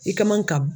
I ka man ka